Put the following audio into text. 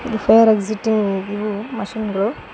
Fire exciting ಇವು machine ಗಳು.